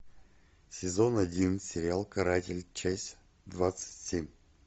сезон один сериал каратель часть двадцать семь